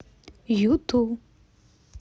юту